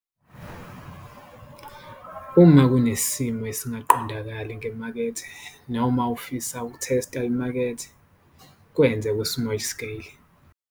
Uma kunesimo esingaqondakali ngemakethe noma ufisa ukutesta imakethe, kwenze ku-small scale.